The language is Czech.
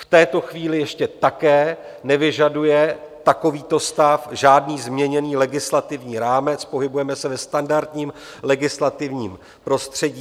V této chvíli ještě také nevyžaduje takovýto stav žádný změněný legislativní rámec, pohybujeme se ve standardním legislativním prostředí.